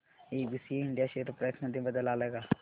ABC India share price मध्ये बदल आलाय का